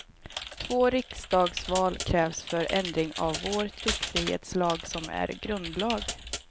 Två riksdagsval krävs för ändring av vår tryckfrihetslag, som är grundlag.